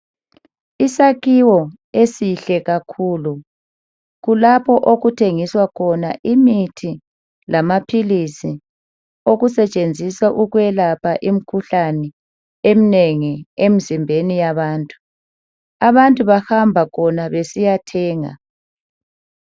Isakhiwo esihle kakhulu kulapho okuthengiswa khona imithi lamaphilizi, okusetshenziswa uwelapha imikhuhlane eminengi emzimbeni yabantu. Abantu bahamba khona besiya thenga.